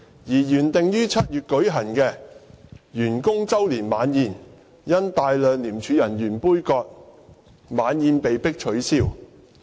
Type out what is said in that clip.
而原定於7月舉行的員工周年晚宴，因大量廉署人員杯葛而被迫取消。